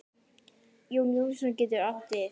Jón Jónsson getur átt við